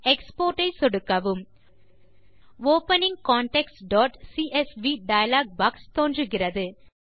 export ஐ சொடுக்கவும் opening contactsசிஎஸ்வி டயலாக் பாக்ஸ் தோன்றுகிறது